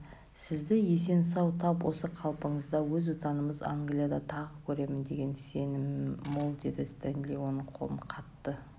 сізді есен-сау тап осы қалпыңызда өз отанымыз англияда тағы көрермін деген сенімім мол деді стенли оның қолын қатты